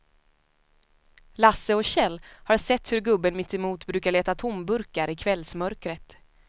Lasse och Kjell har sett hur gubben mittemot brukar leta tomburkar i kvällsmörkret.